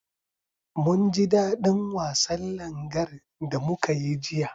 Munji daɗin wasan Langar da muka yi jiya.